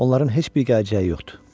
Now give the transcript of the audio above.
Onların heç bir gələcəyi yoxdur.